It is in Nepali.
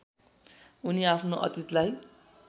उनी आफ्नो अतितलाई